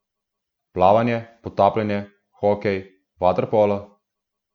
Plavanje, potapljanje, hokej, vaterpolo?